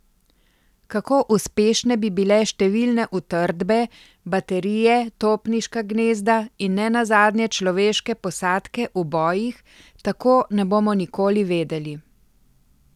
Kako uspešne bi bile številne utrdbe, baterije, topniška gnezda in ne nazadnje človeške posadke v bojih, tako ne bomo nikoli vedeli.